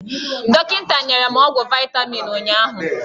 Dọkịta nyere m ọgwụ vaitamin ụnyụahụ.